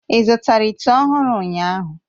Ị zụtara ite ọhụrụ ụnyahụ?